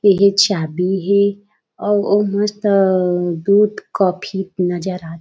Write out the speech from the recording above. ये हे चाबी हे अउ मस्त दूध कॉफ़ी नजर आथे।